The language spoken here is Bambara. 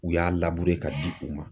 U y'a ka di u ma.